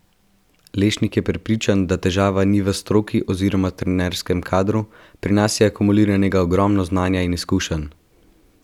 Lešnik je prepričan, da težava ni v stroki oziroma trenerskem kadru: "Pri nas je akumuliranega ogromno znanja in izkušenj.